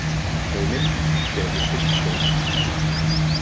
Heimild: Vefur Fiskistofu.